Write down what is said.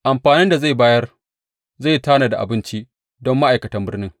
Amfanin da zai bayar zai tanada abinci don ma’aikatan birnin.